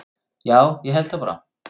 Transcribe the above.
Já, ég held það bara.